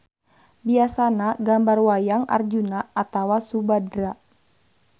Biasana gambar wayang Arjuna atawa Subadra.